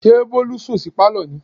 ṣé bólú sùn sí Pálọ̀ ni?